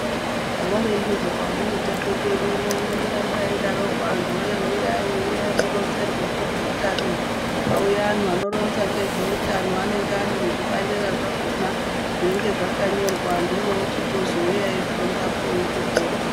Havarembi zvavo vanamutape kwedu uno anondoramba eidaroko, antuwee uyai, uyai muronzerwe ngezveutano kwauya anhu anoronza ngezveutano. Anenge ari nezvibandera zvakona zvinenge zvakanyorwa antu orochitozouya eifundapo, otopora.